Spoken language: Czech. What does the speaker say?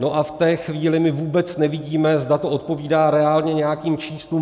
No a v té chvíli my vůbec nevidíme, zda to odpovídá reálně nějakým číslům.